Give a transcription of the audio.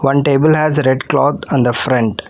One table has red cloth on the front.